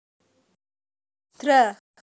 Dra